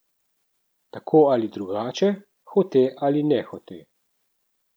Tako ali drugače, hote ali nehote.